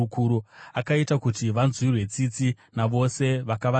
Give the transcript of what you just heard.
Akaita kuti vanzwirwe tsitsi navose vakavatapa.